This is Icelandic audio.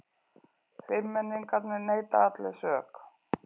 Fimmmenningarnir neita allir sök